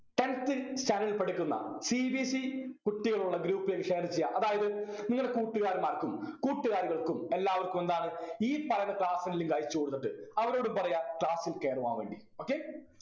tenth ൽ standard ൽ പഠിക്കുന്ന cbse കുട്ടികളുള്ള group ലെക് share ചെയ്യുക അതായത് നിങ്ങളെ കൂട്ടുകാരന്മാർക്കും കൂട്ടുകാരികൾക്കും എല്ലാവർക്കും എന്താന്ന് ഈ പറയുന്ന class ൻ്റെ link അയച്ചു കൊടുത്തിട്ട് അവരോട് പറയുക class ൽ കേറുവാൻ വേണ്ടി okay